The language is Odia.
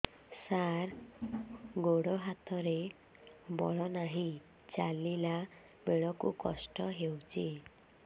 ସାର ଗୋଡୋ ହାତରେ ବଳ ନାହିଁ ଚାଲିଲା ବେଳକୁ କଷ୍ଟ ହେଉଛି